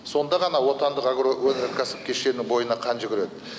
сонда ғана отандық агроөнеркәсіп кешенінің бойына қан жүгіреді